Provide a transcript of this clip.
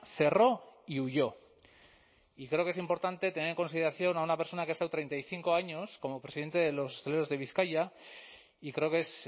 cerró y huyó y creo que es importante tener en consideración a una persona que ha estado treinta y cinco años como presidente de los hosteleros de bizkaia y creo que es